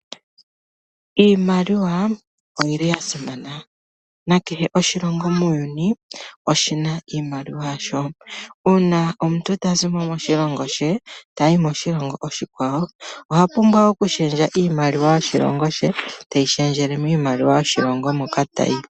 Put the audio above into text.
Iimaliwa oyi li ya simana, na kehe oshilongo muuyuni oshi na iimaliwa yasho. Uuna omuntu ta zi mo moshilongo she, ta yi moshilongo oshikwawo, oha pumbwa okushendja iimaliwa yoshilongo she, te yi shendjele miimaliwa yoshilongo moka ta yi.